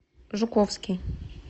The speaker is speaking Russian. жуковский